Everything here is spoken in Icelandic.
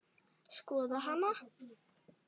Skoða hana?